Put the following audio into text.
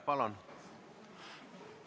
Palun!